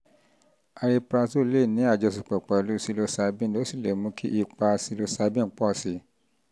cs] ariprazole lè ní àjọṣepọ̀ pẹ̀lú psilocybin ó sì lè mú kí ipa psilocybin pọ̀ sí i